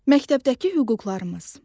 Məktəbdəki hüquqlarımız.